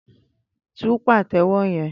Tú pàtẹ́wọ́ yẹn!